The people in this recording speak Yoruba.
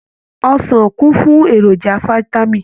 Ọsàn kún fún èròjà fitami.